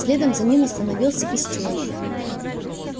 следом за ним остановился и стюарт